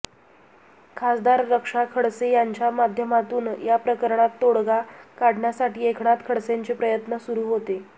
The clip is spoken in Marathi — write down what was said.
खासदार रक्षा खडसे यांच्या माध्यमातून या प्रकरणात तोडगा काढण्यासाठी एकनाथ खडसेंचे प्रयत्न सुरू होते